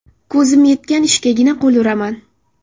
Ko‘zim yetgan ishgagina qo‘l uraman.